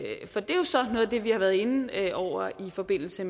det vi har været inde over i forbindelse